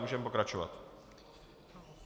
Můžeme pokračovat.